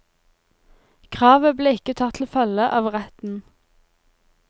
Kravet ble ikke tatt til følge av retten.